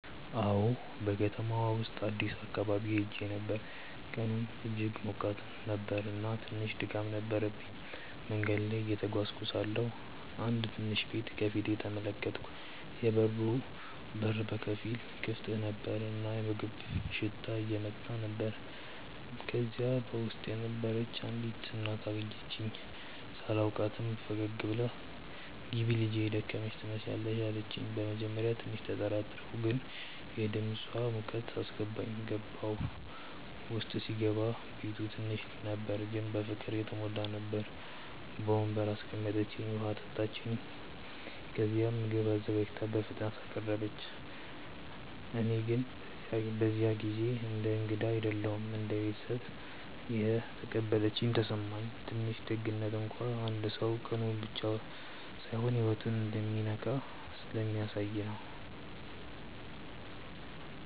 አዎን፣ በከተማው ውስጥ አዲስ አካባቢ ሄዼ ነበር፣ ቀኑም እጅግ ሞቃት ነበር እና ትንሽ ድካም ነበረብኝ። መንገድ ላይ እየተጓዝኩ ሳለሁ አንድ ትንሽ ቤት ከፊት ተመለከትኩ፤ የበሩ በር በከፊል ክፍት ነበር እና የምግብ ሽታ እየወጣ ነበር። ከዚያ በውስጥ የነበረች አንዲት እናት አየችኝ። ሳላውቃትም ፈገግ ብላ “ግቢ ልጄ፣ የደከመሽ ትመስያለሽ” አለችኝ። በመጀመሪያ ትንሽ ተጠራጠርኩ፣ ግን የድምፃ ሙቀት አስገባኝ። ገባሁ። ውስጥ ሲገባ ቤቱ ትንሽ ነበር ግን በፍቅር የተሞላ ነበር። በወንበር አስቀምጠችኝ፣ ውሃ አመጣች፣ ከዚያም ምግብ አዘጋጅታ በፍጥነት አቀረበች። እኔ ግን በዚያ ጊዜ እንደ እንግዳ አይደለም እንደ ቤተሰብ እንደተቀበለችኝ ተሰማኝ። ትንሽ ደግነት እንኳን አንድ ሰው ቀኑን ብቻ ሳይሆን ህይወቱን እንደሚነካ ስለሚያሳየ ነው